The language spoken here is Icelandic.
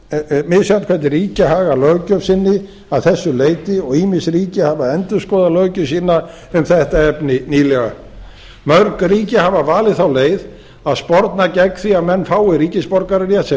er mjög misjafnt hvernig ríki haga löggjöf sinni að þessu leyti og ýmis ríki hafa endurskoðað löggjöf sína um þetta efni nýlega mörg ríki hafa valið þá leið að sporna gegn því að menn fái ríkisborgararétt sem